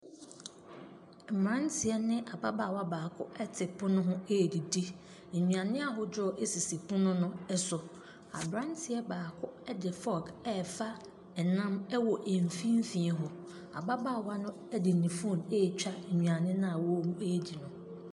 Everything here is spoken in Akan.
Mmeranteɛ ne ababaawa baako te pono ho redidi. Nnuane ahodoɔ sisi pono no so. Aberanteɛ baako de fork refa ɛnam wɔ mfimfini hɔ. Ababaawa no de ne phone retwa nnuane no a wɔredi no.